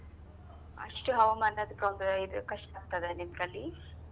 ಅಷ್ಟು ಹವಾಮಾನದ್ದ ತೊಂದ್ರೆ ಇದು ಕಷ್ಟ ಆಗ್ತದೆ ನಿಮ್ಗಲ್ಲಿ?